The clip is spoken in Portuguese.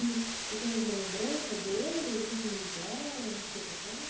E você tem alguma lembrança deles, assim como eles eram, seus avós?